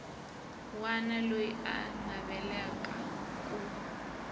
wana loyi a navelaka ku